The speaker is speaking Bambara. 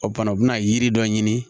O fana u bi na yiri dɔ ɲini